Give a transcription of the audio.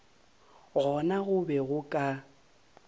gona go be go ka